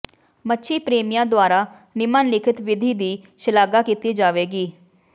ਮੱਛੀ ਪ੍ਰੇਮੀਆਂ ਦੁਆਰਾ ਨਿਮਨਲਿਖਤ ਵਿਧੀ ਦੀ ਸ਼ਲਾਘਾ ਕੀਤੀ ਜਾਵੇਗੀ